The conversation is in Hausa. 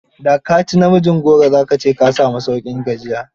Da ka ci namijin goro, za ka ce ka sami sauƙin gajiya.